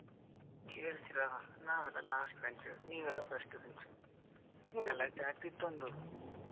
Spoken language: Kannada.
ಕೇಳ್ತೀರಾ? ನಾವೆಲ್ಲಾ last bench ನೀವೆಲ್ಲಾ first bench ಗಲಾಟೆ ಆಗ್ತಿತ್ತು ಒಂದು.